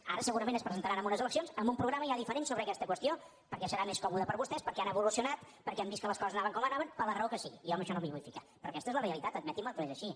ara segurament es presentaran a unes eleccions amb un programa ja diferent sobre aquesta qüestió perquè serà més còmode per vostès perquè han evolucionat perquè han vist que les coses anaven com anaven per la raó que sigui jo en això no m’hi vull ficar però aquesta és la realitat admeti’m que és així